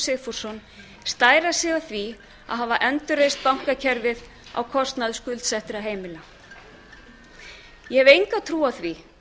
sigfússon stæra sig af því að hafa endurreist bankakerfið á kostnað skuldsettra heimila ég hef enga trú á því